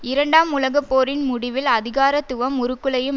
இரண்டாம் உலக போரின் முடிவில் அதிகாரத்துவம் உருக்குலையும்